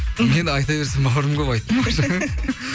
мен айта берсем бауырым көп айттым ғой жаңа